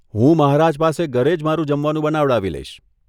હું મહારાજ પાસે ઘરે જ મારું જમવાનું બનાવડાવી લઇશ.